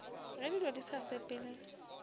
ge dilo di sa sepele